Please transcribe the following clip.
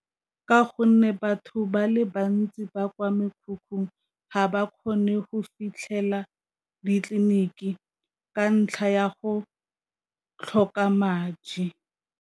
Ka gonne batho ba le bantsi ba kwa mekhukhung ga ba kgone go fitlhelela ditleliniki ka ntlha ya go tlhoka madi.